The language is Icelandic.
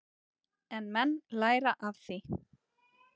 En menn læra af því.